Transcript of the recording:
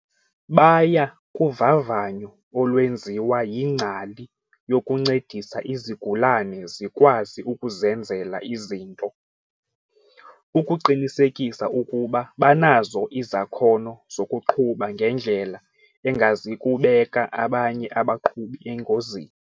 "Baya kuvavanyo olwenziwa yingcali yokuncedisa izigulane zikwazi ukuzenzela izinto ukuqinisekisa ukuba banazo izakhono zokuqhuba ngendlela engazikubeka abanye abaqhubi engozini."